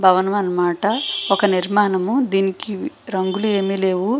భవనం అన్న మాట ఒక నిర్మాణము దీనికి రంగులు ఏవి లేవు --